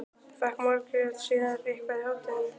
Fékk Margrét sér eitthvað í hádeginu?